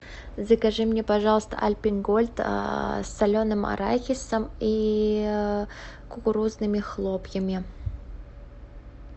закажи мне пожалуйста альпен гольд с соленым арахисом и кукурузными хлопьями